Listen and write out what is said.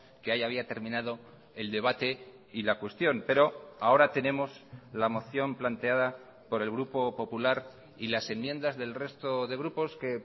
que ahí había terminado el debate y la cuestión pero ahora tenemos la moción planteada por el grupo popular y las enmiendas del resto de grupos que